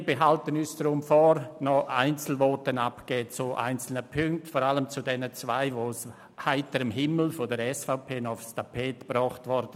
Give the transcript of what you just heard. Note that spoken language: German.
Wir behalten uns deshalb vor, noch Einzelvoten zu einzelnen Punkten abzugeben, vor allem zu den beiden Anträgen, die von der SVP aus heiterem Himmel noch aufs Tapet gebracht wurden.